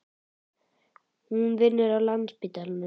Hún vinnur á Landspítalanum.